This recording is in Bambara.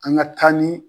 An ka taa ni